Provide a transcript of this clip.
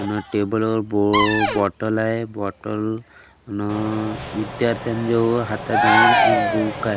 त्यानं टेबल वर बो अ बॉटल आहे बॉटल न विद्यार्थ्यांन जवळ हाताजवळ एक बुक आहे.